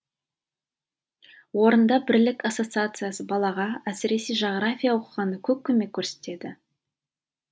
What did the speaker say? орында бірлік ассоциациясы балаға әсіресе жағрафия оқығанда көп көмек көрсетеді